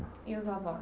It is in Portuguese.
E os avós?